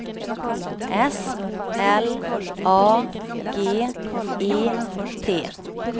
S L A G E T